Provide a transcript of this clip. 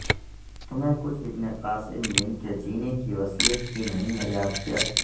تمہیں کچھ ابن قاسم بن کے جینے کی وصیت بھی نہیں ہے یاد کیا